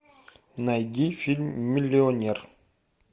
найди фильм миллионер